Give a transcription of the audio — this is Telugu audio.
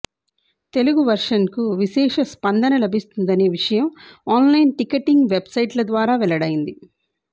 తెలుగు వెర్షన్కు విశేష స్పందన లభిస్తున్నదనే విషయం ఆన్ లైన్ టికెటింగ్ వెబ్సైట్ల ద్వారా వెల్లడైంది